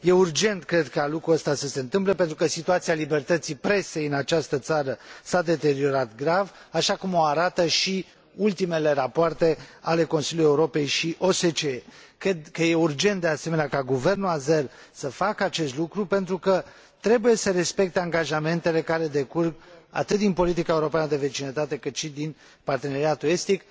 Este urgent, cred, ca lucrul acesta să se întâmple, pentru că situația libertății presei în această țară s a deteriorat grav, așa cum o arată și ultimele rapoarte ale Consiliului Europei și OSCE. Cred că este urgent, de asemenea, ca guvernul azer să facă acest lucru, pentru că trebuie să respecte angajamentele care decurg atât din politica europeană de vecinătate, cât și din parteneriatul estic.